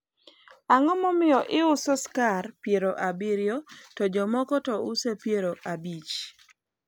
ang'o momiyo iuso skar piero abiriyo to jok moko to uso piero abich?